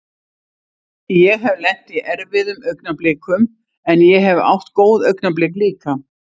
Ég hef lent í erfiðum augnablikum en ég hef átt góð augnablik líka.